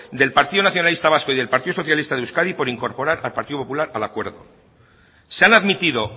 del partido nacionalista vasco y del partido socialista de euskadi por incorporar al partido popular al acuerdo se han admitido